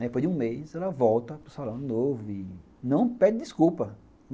Depois de um mês, ela volta para o salão de novo e não pede desculpa.